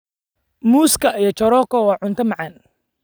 Muuska iyo choroko waa cunto macaan.